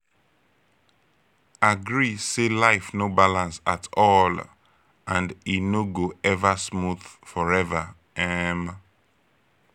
agree say life no balance at all and e no go ever smooth forever um